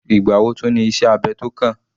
Ìgbà wo tún ní iṣẹ́ abẹ tó kàn?